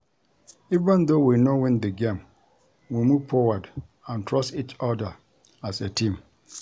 Even though we no win the game we move forward and trust each other as a team